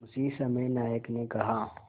उसी समय नायक ने कहा